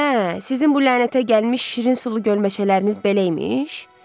Hə, sizin bu lənətə gəlmiş şirin sulu göl meşələriniz belə imiş!